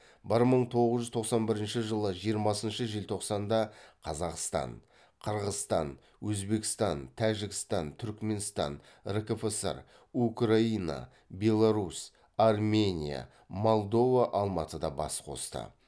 бір мың тоғыз жүз тоқсан бірінші жылы жиырмасыншы желтоқсанда қазақстан қырғызстан өзбекстан тәжікстан түркіменстан ркфср украина белорусь армения молдова алматыда бас қосты